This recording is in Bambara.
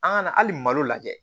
An ka na hali malo lajɛ